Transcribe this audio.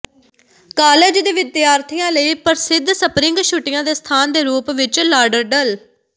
college ਦੇ ਵਿਦਿਆਰਥੀਆਂ ਲਈ ਪ੍ਰਸਿੱਧ ਸਪਰਿੰਗ ਛੁੱਟੀਆਂ ਦੇ ਸਥਾਨ ਦੇ ਰੂਪ ਵਿੱਚ ਲਾਡਰਡਲ